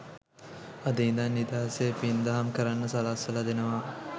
අද ඉඳන් නිදහසේ පින්දහම් කරන්න සලස්සවල දෙනව.